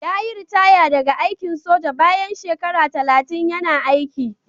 Yayi ritaya daga aikin soja bayan shekara talatin yana aiki.